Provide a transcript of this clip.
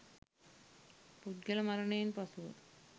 පුද්ගල මරණයෙන් පසුව